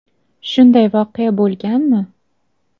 Shunday voqea bo‘lganmi?